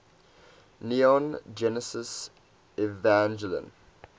neon genesis evangelion